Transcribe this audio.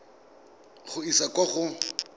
go e isa kwa go